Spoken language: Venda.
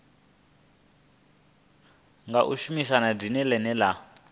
nga shumisa dzina ḽine ḽa